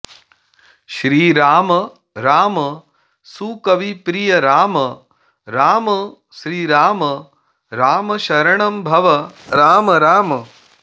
श्रीराम राम सुकविप्रिय राम राम श्रीराम राम शरणं भव राम राम